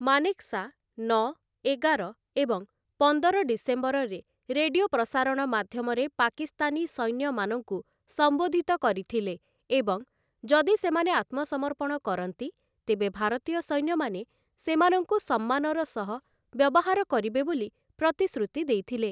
ମାନେକ୍‌ଶା ନଅ, ଏଗାର ଏବଂ ପନ୍ଦର ଡିସେମ୍ବରରେ ରେଡିଓ ପ୍ରସାରଣ ମାଧ୍ୟମରେ ପାକିସ୍ତାନୀ ସୈନ୍ୟମାନଙ୍କୁ ସମ୍ବୋଧିତ କରିଥିଲେ ଏବଂ ଯଦି ସେମାନେ ଆତ୍ମସମର୍ପଣ କରନ୍ତି ତେବେ ଭାରତୀୟ ସୈନ୍ୟମାନେ ସେମାନଙ୍କୁ ସମ୍ମାନର ସହ ବ୍ୟବହାର କରିବେ ବୋଲି ପ୍ରତିଶ୍ରୁତି ଦେଇଥିଲେ ।